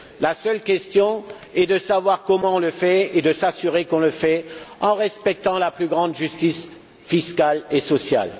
La seule question est de savoir comment le faire et de veiller à le faire en respectant la plus grande justice fiscale et sociale.